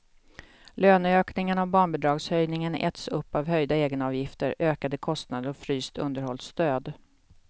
Löneökningarna och barnbidragshöjningen äts upp av höjda egenavgifter, ökade kostnader och fryst underhållsstöd.